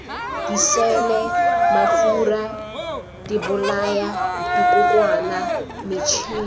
diseele mafura dibolaya dikokwana metšhine